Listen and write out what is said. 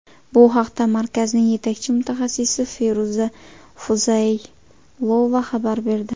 Bu haqda markazning yetakchi mutaxassisi Feruza Fuzaylova xabar berdi.